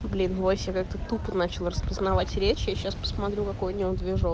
блин вообще как-то тупо начал распознавать речь я сейчас посмотрю какой у него движок